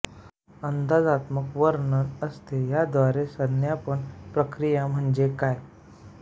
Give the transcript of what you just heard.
अंदाजात्मक वर्णन असते याद्वारे संज्ञापन प्रकिया म्हणजे काय